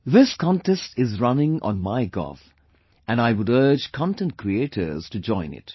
This contest is running on MyGov and I would urge content creators to join it